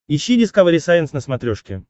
ищи дискавери сайенс на смотрешке